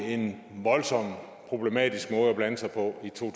en voldsom problematisk måde at blande sig på i to